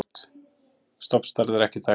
stofnstærð er ekki þekkt